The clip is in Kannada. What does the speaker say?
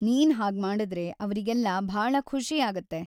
ನೀನ್ ಹಾಗ್ಮಾಡುದ್ರೆ, ಅವ್ರಿಗೆಲ್ಲ ಭಾಳ ಖುಷಿ ಆಗತ್ತೆ.